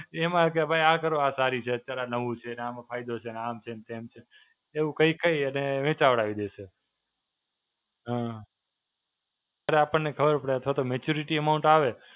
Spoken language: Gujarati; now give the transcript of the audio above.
એમાં કે ભઇ આ કરો. આ સારી છે. અત્યારે આ નવું છે અને આમાં ફાયદો છે, ને આમ છે, તેમ છે. એવું કહી કહી અને વેચાવડાવી દેશે. હાં. અરે અપણને ખબર પડે અથવા તો Maturity Amount આવે